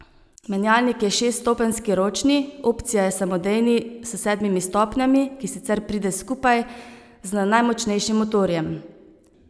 Menjalnik je šeststopenjski ročni, opcija je samodejni s sedmimi stopnjami, ki sicer pride skupaj z najmočnejšim motorjem.